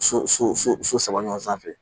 So so so so so so so saba ɲɔgɔn sanfɛ